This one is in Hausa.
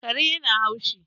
Kare yana haushi